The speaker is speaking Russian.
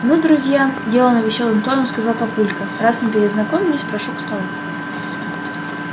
ну друзья делано весёлым тоном сказал папулька раз мы перезнакомились прошу к столу